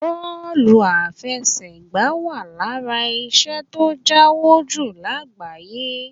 Bọ́ọ̀lù afẹsẹ̀gbá wà lára iṣẹ́ tó ń jáwó jù lágbàáyé